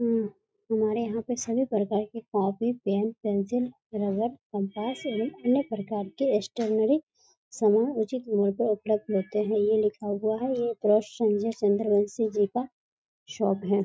हूं हमारे यहां पर सभी प्रकार के copy pen pencil rubber compass एवं अन्य प्रकार के स्टेसनरी सामान उचित मूल्य पर उपलब्ध होते हैं ये लिखा हुआ है ये संजय संद्रवंशी जी का शॉप है।